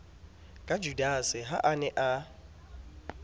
ka judase ha a ne